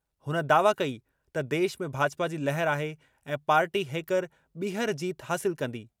हुन दावा कई त देश में भाजपा जी लहर आहे ऐं पार्टी हेकर ॿीहर जीत हासिल कंदी।